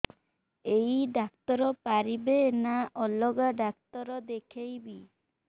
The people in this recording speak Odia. ଏଇ ଡ଼ାକ୍ତର ପାରିବେ ନା ଅଲଗା ଡ଼ାକ୍ତର ଦେଖେଇବି